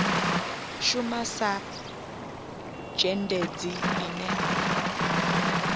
shuma sa zhendedzi ine a